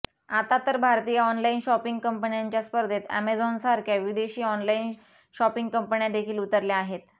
आता तर भारतीय ऑनलाइन शॉपिंग कंपन्यांच्या स्पर्धेत अॅमेझॉनसारख्या विदेशी ऑनलाइन शॉपिंग कंपन्यादेखील उतरल्या आहेत